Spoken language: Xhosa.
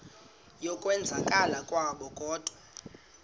yokwenzakala kwabo kodwa